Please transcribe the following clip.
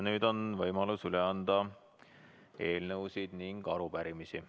Nüüd on võimalus üle anda eelnõusid ja arupärimisi.